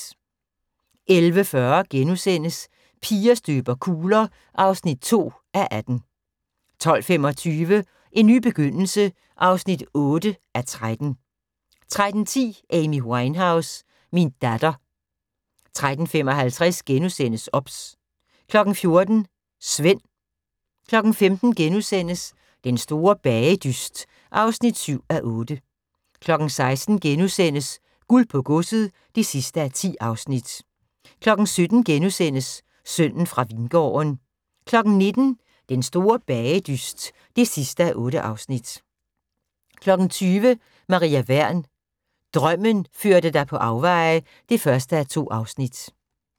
11:40: Piger støber kugler (2:18)* 12:25: En ny begyndelse (8:13) 13:10: Amy Winehouse – min datter 13:55: OBS * 14:00: Svend 15:00: Den store bagedyst (7:8)* 16:00: Guld på godset (10:10)* 17:00: Sønnen fra Vingården * 19:00: Den store bagedyst (8:8) 20:00: Maria Wern: Drømmen førte dig på afveje (1:2)